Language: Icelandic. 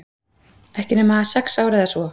Ekki nema sex ár eða svo.